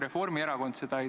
Mikrofon, palun!